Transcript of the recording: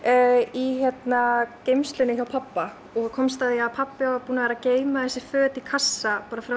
í geymslunni hjá pabba og komst að því að pabbi var búinn að vera að geyma þessi föt í kassa frá